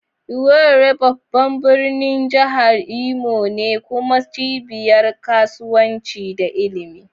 Owerri babban birnin jihar Imo ne kuma cibiyar kasuwanci da ilimi.